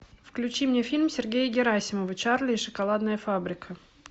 включи мне фильм сергея герасимова чарли и шоколадная фабрика